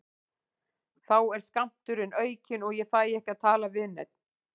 Þá er skammturinn aukinn og ég fæ ekki að tala við neinn.